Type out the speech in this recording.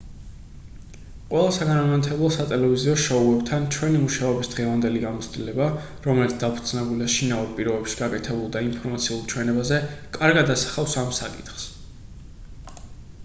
ყველა საგანმანათლებლო სატელევიზიო შოუებთან ჩვენი მუშაობის დღევანდელი გამოცდილება რომელიც დაფუძნებულია შინაურ პირობებში გაკეთებულ და ინფორმაციულ ჩვენებაზე კარგად ასახავს ამ საკითხს